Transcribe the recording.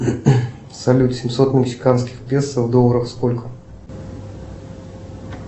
салют семьсот мексиканских песо в долларах сколько